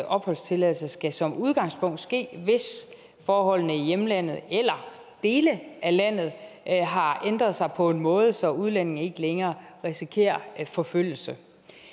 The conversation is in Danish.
opholdstilladelse skal som udgangspunkt ske hvis forholdene i hjemlandet eller i dele af landet har ændret sig på en måde så udlændingene ikke længere risikerer forfølgelse